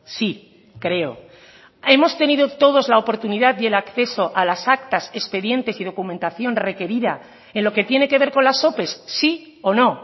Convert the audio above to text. sí creo hemos tenido todos la oportunidad y el acceso a las actas expedientes y documentación requerida en lo que tiene que ver con las ope sí o no